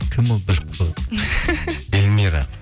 кім ол біліп қойған эльмира